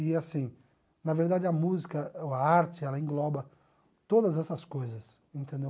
E assim, na verdade a música, a arte, ela engloba todas essas coisas, entendeu?